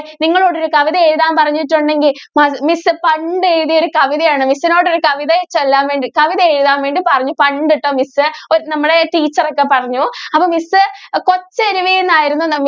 നിങ്ങളോട് ഒരു കവിത എഴുതാൻ പറഞ്ഞിട്ടുണ്ടെങ്കിൽ miss പണ്ട് എഴുതിയ ഒരു കവിത ആണ് miss നോട് ഒരു കവിത ചൊല്ലാൻ വേണ്ടി കവിത എഴുതാൻ വേണ്ടി പറഞ്ഞു പണ്ട് ട്ടോ miss നമ്മടെ teacher ക്കെ പറഞ്ഞു അപ്പോ miss കൊച്ചരുവി എന്നായിരുന്നു